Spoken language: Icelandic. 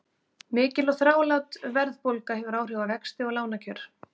Mikil og þrálát verðbólga hefur áhrif á vexti og lánakjör.